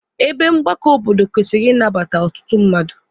Ebe mgbakọ obodo kwesịrị ịnabata ọtụtụ mmadụ.